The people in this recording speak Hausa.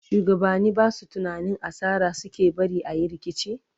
shugabani Basu tunanin asara suke barin ayi rikici?